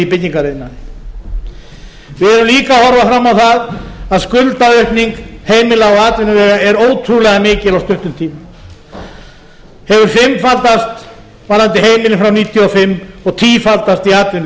byggingariðnaði við verðum líka að horfa fram á það að skuldaaukning heimila og atvinnuvega er ótrúlega mikil á stuttum tíma hefur fimmfaldast varðandi heimilin frá nítján hundruð níutíu og fimm og tífaldast í atvinnulífinu